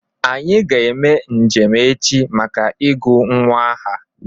Anyị ga eme njem echi maka ị gu nwa aha